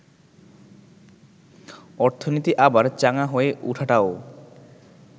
অর্থনীতি আবার চাঙ্গা হয়ে ওঠাটাও